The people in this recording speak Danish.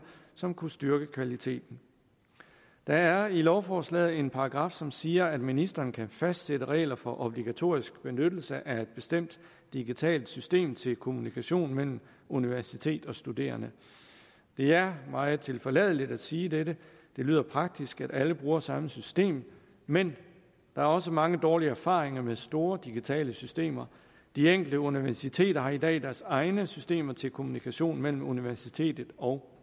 som kunne styrke kvaliteten der er i lovforslaget en paragraf som siger at ministeren kan fastsætte regler for obligatorisk benyttelse af et bestemt digitalt system til kommunikation mellem universitet og studerende det er meget tilforladeligt at sige dette det lyder praktisk at alle bruger samme system men der er også mange dårlige erfaringer med store digitale systemer de enkelte universiteter har i dag deres egne systemer til kommunikation mellem universitetet og